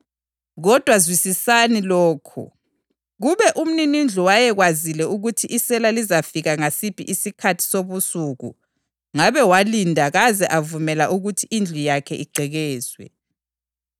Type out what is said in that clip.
Kodwa zwisisani lokhu: Kube umninindlu wayekwazile ukuthi isela lizafika ngasiphi isikhathi sobusuku ngabe walinda kaze avumela ukuthi indlu yakhe igqekezwe.